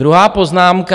Druhá poznámka.